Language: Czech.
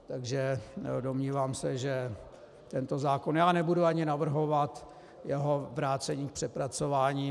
Takže domnívám se, že tento zákon - já nebudu ani navrhovat jeho vrácení k přepracování.